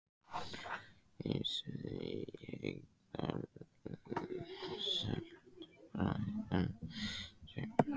Geysissvæðið í Haukadal selt Bretanum James